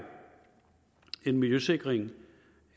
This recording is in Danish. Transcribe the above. en miljøsikring